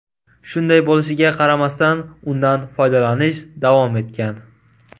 Shunday bo‘lishiga qaramasdan, undan foydalanish davom etgan.